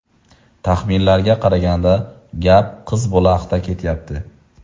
Taxminlarga qaraganda gap qiz bola haqida ketyapti.